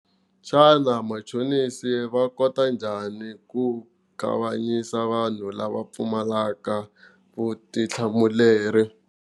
Xana machonisi va kota njhani ku kanganyisa vanhu lava pfumalaka vutihlamuleri?